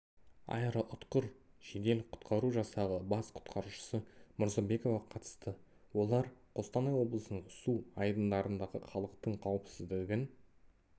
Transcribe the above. аэроұтқыр жедел құтқару жасағы бас құтқарушысы мұрзабекова қатысты олар қостанай облысының су айдындарындағы халықтың қауіпсіздігін